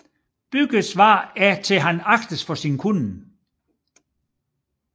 Byggves svar er at han agtes for sin kunnen